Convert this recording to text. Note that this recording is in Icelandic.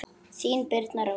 Þín Birna Rós.